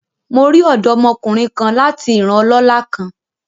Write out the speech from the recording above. Mo ri ọdọmokunrin kan lati iran ọlọla kan